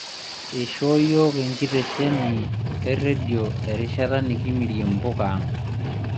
Eishoo yiok enkitesheni e rendio erishara enikimirie mpuka ang'